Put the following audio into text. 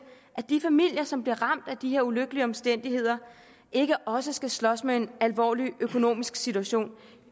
at de familier som bliver ramt af de her ulykkelige omstændigheder ikke også skal slås med en alvorlig økonomisk situation